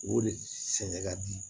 O de sɛngɛ ka di